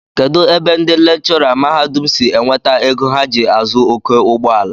Kedụ ebe ndị lekchọra mahadum si enweta ego ha ji azụ oké ụgbọala?